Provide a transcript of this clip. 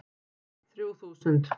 Þrjú þúsund